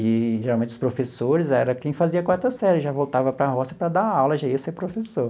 E, geralmente, os professores era quem fazia a quarta série, já voltava para a roça para dar aula, já ia ser professor.